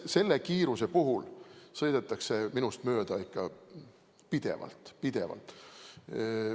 Selle kiiruse puhul sõidetakse minust ikka pidevalt mööda.